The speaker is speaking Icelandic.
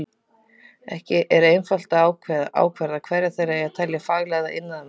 Ekki er einfalt að ákvarða hverja þeirra eigi að telja faglærða iðnaðarmenn.